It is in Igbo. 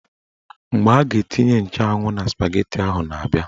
Mgbe a ga-etinye nchụanwụ na spageti ahụ na-abia